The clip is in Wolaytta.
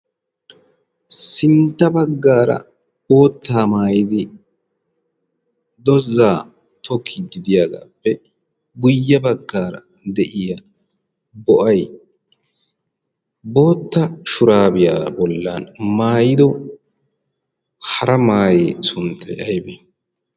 sintta baggaara oottaa maayidi dozaa tooki gidiyaagaappe guyye baggaara de'iya bo'ay bootta shuraabiyaa bollan maayido hara maayee sunttay aybi